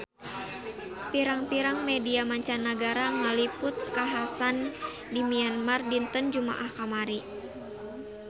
Pirang-pirang media mancanagara ngaliput kakhasan di Myanmar dinten Jumaah kamari